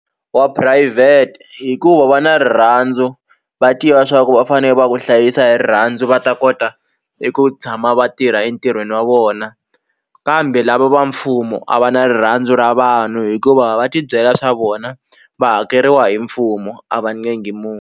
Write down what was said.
Wa phurayivhete hikuva va na rirhandzu va tiva swa ku va fane va ku hlayisa hi rirhandzu va ta kota eku tshama va tirha entirhweni wa vona kambe lava va mfumo a va na rirhandzu ra vanhu hikuva va tibyela swa vona va hakeriwa hi mfumo a va .